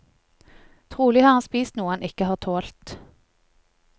Trolig har han spist noe han ikke har tålt.